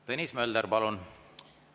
Tõnis Mölder, palun!